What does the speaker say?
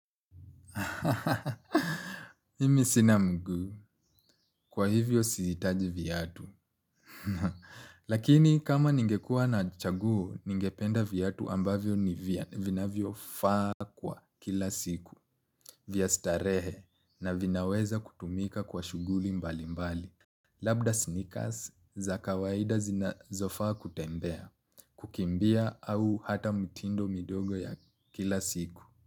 Mimi sina mguu kwa hivyo siitaji viatu. Lakini kama ningekua na chaguo ningependa viatu ambavyo vinavyo faa kwa kila siku. Vya starehe na vinaweza kutumika kwa shuguli mbali mbali. Labda sneakers za kawaida zinazo fa kutembea kukimbia au hata mtindo midogo ya kila siku.